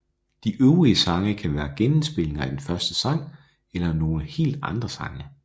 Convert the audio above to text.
De øvrige sange kan være genindspilninger af den første sang eller nogle helt andre sange